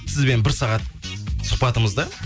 сізбен бір сағат сұхбатымызды